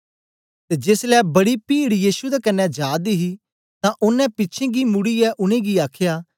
ते जेसलै बड़ी पीड यीशु दे कन्ने जा दी ही तां ओनें पिछें गी मुड़ीयै उनेंगी आखया